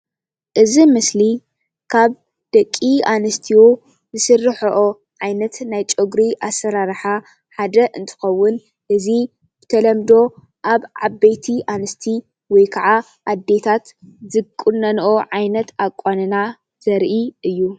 እዚ ምስሊ ካብ ደቂ አንስትዮ ዝስርሐኦ ዓይነት ናይ ጨጉሪ አሰራርሓ ሓደ እንትኾን እዚ ብተለምዶ አብ ዓበይቲ ኣንስቲ ወይ ከዓ አዴታት ዝቁነንኦ ዓይነት አቋንና ዘርኢ እዪ።